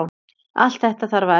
Allt þetta þarf að efla.